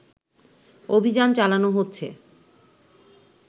অভিযান চালানো হচ্ছে